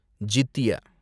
ஜித்திய